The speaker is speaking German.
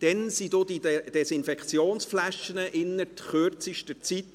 Damals verschwanden die Desinfektionsflaschen innert kürzester Zeit.